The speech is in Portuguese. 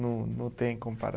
Não não tem